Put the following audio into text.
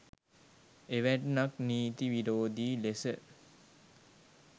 එවැන්නක් නීති විරෝධී ලෙස